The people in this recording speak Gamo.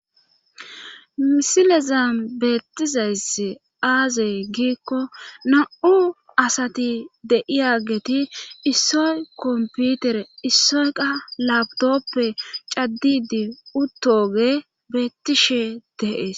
misilezan beettizays aazey giikko na7u asati deiyageti issoy komputere issoyka labdoppe caddidi uttoge beettishe deees